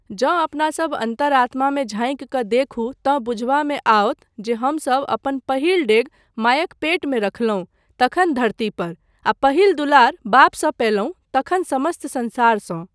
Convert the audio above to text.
जँ अपनासब अन्तरात्मामे झाँकि कऽ देखू तँ बुझबामे आओत जे हमसब अपन पहिल डेग मायक पेटमे रखलहुँ तखन धरती पर आ पहिल दुलार बापसँ पयलहुँ तखन समस्त संसारसँ।